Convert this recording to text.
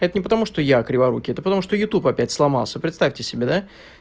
это не потому что я криворукий это потому что утуб опять сломался представьте себе да